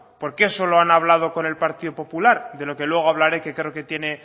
por qué solo han hablado con el partido popular de lo que luego hablaré que creo que tiene